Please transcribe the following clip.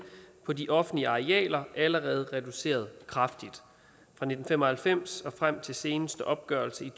på de offentlige arealer allerede reduceret kraftigt fra nitten fem og halvfems og frem til seneste opgørelse i